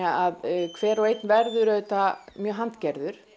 að hver og einn verður auðvitað mjög